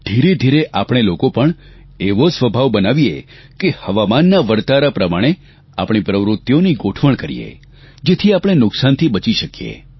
ધીરેધીરે આપણે લોકો પણ એવો સ્વભાવ બનાવીએ કે હવામાનના વરતારા પ્રમાણે આપણી પ્રવૃત્તિઓની ગોઠવણ કરીએ જેથી આપણે નુકસાનથી બચી શકીએ